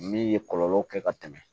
Min ye kɔlɔlɔ kɛ ka tɛmɛ